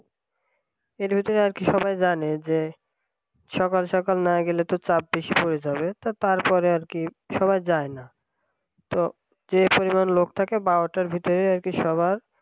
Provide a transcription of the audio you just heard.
এর ভিতরে আর কি সবাই জানে যে সকাল সকাল না গেলে তো চাপ বেশি হয়ে যাবে তারপর আর কি সবাই যায় না তো যে পরিমাণ লোক থাকে বারোটার ভিতরে আর কি সবার